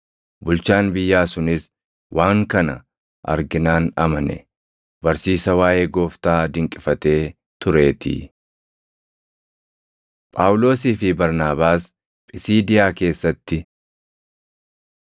Bulchaan biyyaa sunis waan kana arginaan amane; barsiisa waaʼee Gooftaa dinqifatee tureetii. Phaawulosii fi Barnaabaas Phisiidiyaa Keessatti